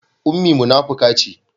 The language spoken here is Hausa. Ummi munafuka ce